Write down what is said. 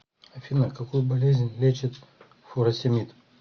афина какую болезнь лечит фуросемид